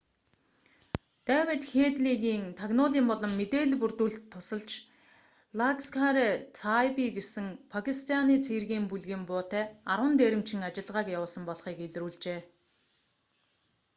дэвид хээдлигийн тагнуулын болон мэдээлэл бүрдүүлэлт тусалж ласкхар-э-таиба гэсэн пакистианы цэргийн бүлгийн буутай 10 дээрэмчин ажиллагааг явуулсан болохыг илрүүлжээ